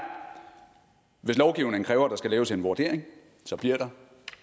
hvis lovgivningen kræver at der skal laves en vurdering så bliver der